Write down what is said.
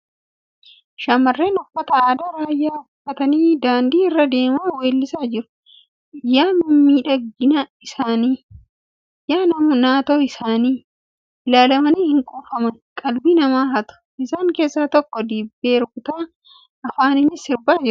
Shamarreen uffata aadaa raayyaa uffatanii daandii irra deemaa weellisaa jiru. Yaa miidhagina isaanii! Yaa naatoo isaanii! Ilaalamanii hin quufaman .Qalbii nama hatu. Isaan keessa takka dibbee rukutaa afaaninis sirbaa jirti .